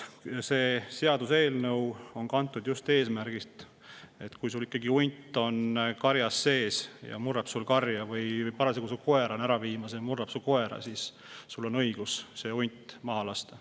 See seaduseelnõu on kantud just eesmärgist, et kui hunt on su karjas ja murrab karja või on parasjagu su koera ära viimas, murrab su koera, siis on sul õigus see hunt maha lasta.